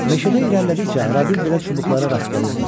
Meşəbəyə irəlilədikcə arabir belə çubuqlara rast gəlirdilər.